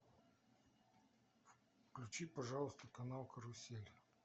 включи пожалуйста канал карусель